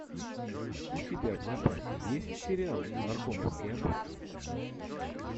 у тебя в запасе есть сериал наркомовский обоз